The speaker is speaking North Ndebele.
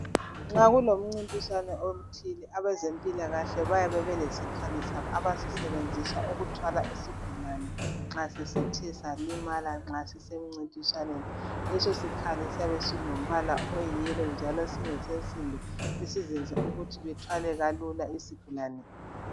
Nxa kulomncintiswano othile abezempilakahle bayabe belesikhali sabo abasisebenzisa ukuthwala isigulane nxa sesithe salimala nxa sisemncintiswaneni, leso sikhali siyabe silombala oyi"yellow " njalo singesensimbi esizenza ukuthi bethwele kalula isigulane.